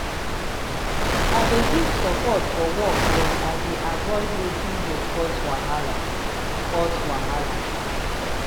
i dey give support forwork but i dey avoid wetin go cause wahala. cause wahala.